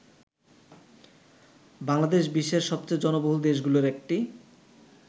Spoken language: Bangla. বাংলাদেশ বিশ্বের সবচেয়ে জনবহুল দেশগুলোর একটি।